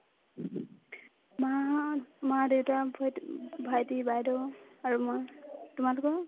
মা মা-দেউতা, ভইটি ~ ভাইটি, বাইদেউ আৰু মই , তোমালোকৰ ?